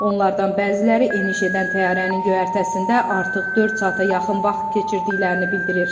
Onlardan bəziləri eniş edən təyyarənin göyərtəsində artıq dörd saata yaxın vaxt keçirdiklərini bildirir.